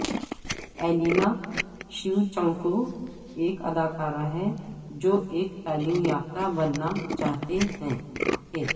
Elena Shevchenko ایک اداکارہ ہے جو ایک تعلیم یافتہ بننا چاہتے تھے